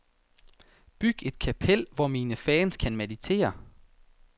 Byg et kapel, hvor mine fans kan meditere.